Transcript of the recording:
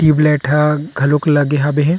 Tube light ह घलोक लगे हे।